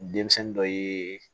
Denmisɛnnin dɔ ye